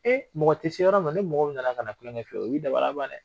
mɔgɔ tɛ se yɔrɔ min na ni mɔgɔ min na na ka na kulenkɛ ye o b'i dabaliya ban dɛ.